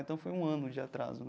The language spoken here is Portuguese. Então, foi um ano de atraso, né?